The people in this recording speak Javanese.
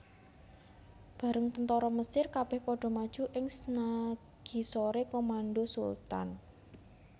Bareng tentara Mesir kabeh padha maju ing snagisore komando Sultan